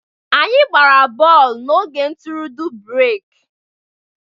Anyị gbara bọọlụ n'oge ntụrụndụ/breki